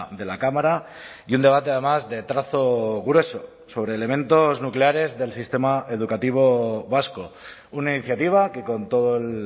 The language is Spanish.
de la cámara y un debate además de trazo grueso sobre elementos nucleares del sistema educativo vasco una iniciativa que con todo el